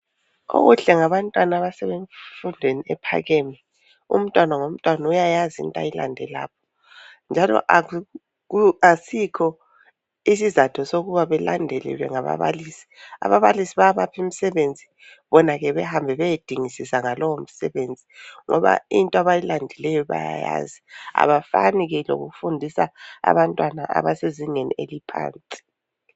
Okuhle ngabantwana abasemfundweni ephakeme yikuthi umntwana ngomntwana uyayazi into ayilande lapho njalo asikhonisizatho sokuba belandelelwe ngababalisi . Ababalisi bayapha imisebenzi bona behambe beyedingisisa ngalo umsebenzi ngoba into abayilandileyo bayayazi abafani lokufundisa abantwana abasezingeni eliphansi.